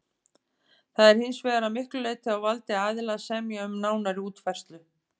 Það er hins vegar að miklu leyti á valdi aðila að semja um nánari útfærslu.